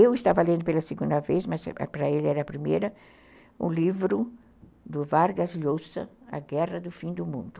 Eu estava lendo pela segunda vez, mas para ele era a primeira, o livro do Vargas Llosa, A Guerra do Fim do Mundo.